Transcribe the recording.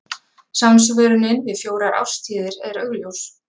Samsvörunin við fjórar árstíðir er augljós.